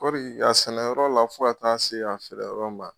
Kɔri a sɛnɛyɔrɔ la fo ka taa'a se a feereyɔrɔ ma